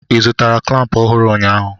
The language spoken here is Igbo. ị zụtara klamp ọhụrụ ụnyaahụ?